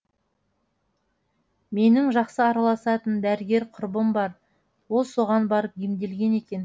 менің жақсы араласатын дәрігер құрбым бар ол соған барып емделген екен